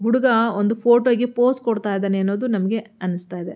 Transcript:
ಹುಡುಗ ಒಂದು ಫೋಟೋ ಗೆ ಪೋಸ್ ಕೊಡ್ತಾ ಇದ್ದಾನೆ ಅನ್ನೋದು ನಮಗೆ ಅನಿಸ್ತಾ ಇದೆ.